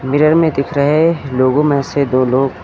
mirror में दिख रहे लोगों में से दो लोग--